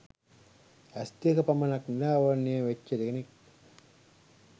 ඇස් දෙක පමණක් නිරාවරණය වෙච්ච කෙනෙක්